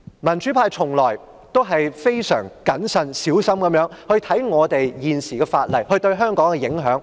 民主派從來都是非常謹慎小心地看待各項法例對香港的影響。